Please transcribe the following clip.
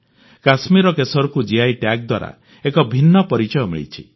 କଶ୍ମୀରର କେଶରକୁ GI tag ଦ୍ୱାରା ଏକ ଭିନ୍ନ ପରିଚୟ ମିଳିଛି